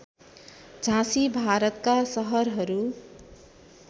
झाँसी भारतका सहरहरू